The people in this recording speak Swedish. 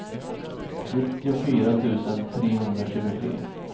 nittiofyra tusen trehundratjugotre